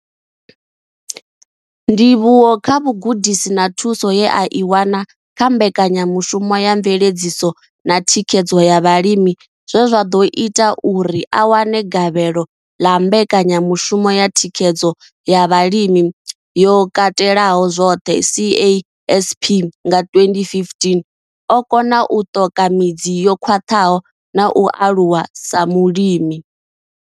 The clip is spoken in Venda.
Ndivhuwo kha vhugudisi na thuso ye a i wana kha mbekanyamushumo ya mveledziso na thikhedzo ya vhalimi zwe zwa ḓo ita uri a wane gavhelo ḽa mbekanyamushumo ya thikhedzo ya zwa vhulimi yo katelaho zwoṱhe CASP nga 2015, o kona u ṱoka midzi yo khwaṱhaho na u aluwa sa mulimi.